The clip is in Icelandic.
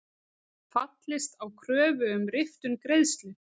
Fallist á kröfu um riftun greiðslu